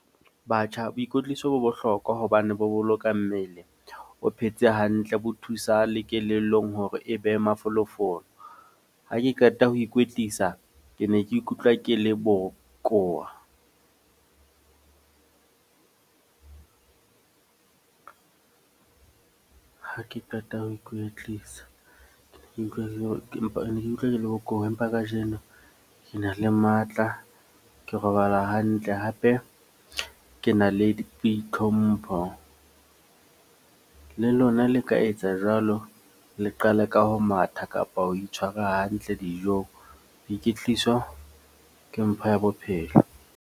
Batjha, boikwetliso bo bohlokwa hobane bo boloka mmele. O phetse hantle, bo thusa le kelellong hore e behe mafolofolo. Ha ke qeta ho ikwetlisa. Ke ne ke ikutlwa ke le bokowa ha ke qeta ho ikwetlisa. Ke ne ke ikutlwa ke le empa ne ke utlwa ke le bokowa. Empa kajeno ke na le matla, ke robala hantle. Hape ke na le boitlhompho. Le lona le ka etsa jwalo. Le qale ka ho matha kapa ho itshwara hantle dijong. Boiketliso ke mpho ya bophelo.